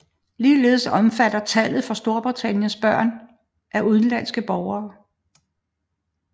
Ligeledes omfatter tallet for Storbritannien børn af udenlandske borgere